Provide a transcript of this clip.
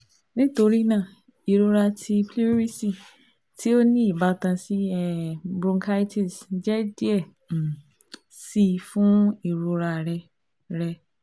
Nitorina irọra ti pleurisy ti o ni ibatan si um bronchitis jẹ diẹ um sii fun irora rẹ rẹ